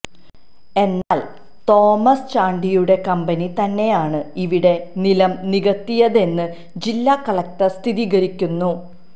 എന്നാല് തോമസ് ചാണ്ടിയുടെ കമ്പനി തന്നെയാണ് ഇവിടെ നിലം നികത്തിയതെന്ന് ജില്ലാ കലക്ടര് സ്ഥിരീകരിക്കുന്നു